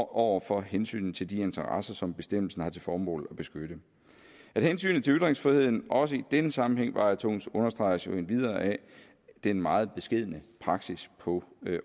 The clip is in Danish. over for hensynet til de interesser som bestemmelsen har til formål at beskytte at hensynet til ytringsfriheden også i denne sammenhæng vejer tungest understreges jo endvidere af den meget beskedne praksis på